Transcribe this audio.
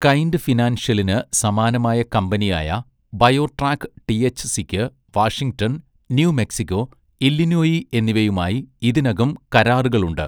Kind ഫിനാൻഷ്യലിന് സമാനമായ കമ്പനിയായ ബയോട്രാക്ക് ടിഎച്ച്സിക്ക് വാഷിംഗ്ടൺ, ന്യൂ മെക്സിക്കോ, ഇല്ലിനോയി എന്നിവയുമായി ഇതിനകം കരാറുകളുണ്ട്.